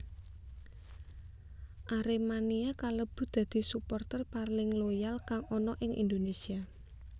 Aremania kalebu dadi suporter paling loyal kang ana ing Indonesia